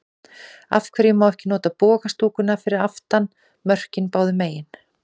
Af hverju má ekki nota boga stúkuna fyrir aftan mörkin báðu megin?